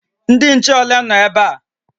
Ndị nche ole nọ ebe a?